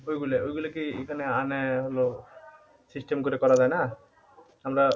আমরা ঐগুলা ঐগুলা কি এখানে আনে হলো system করে করা যাই না?